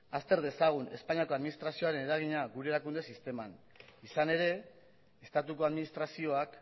azter dezagun espainiako administrazioaren eragina gure erakunde sisteman izan ere estatuko administrazioak